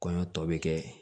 Kɔɲɔ tɔ bɛ kɛ